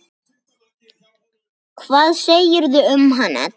Hvað segirðu um hann, Edda?